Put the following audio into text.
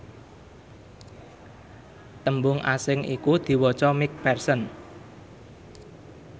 tembung asing iku diwaca mcpherson